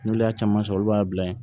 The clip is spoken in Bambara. N'olu y'a caman sɔrɔ olu b'a bila yen